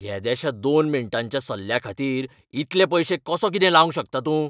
येद्याश्या दोन मिनटांच्या सल्ल्याखातीर इतले पयशे कसो कितें लावंक शकता तूं?